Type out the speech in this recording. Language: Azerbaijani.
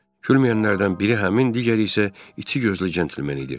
Gülməyənlərdən biri həmin, digəri isə içi gözlü centlmen idi.